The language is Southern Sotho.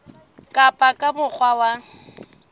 ka ba ka mokgwa wa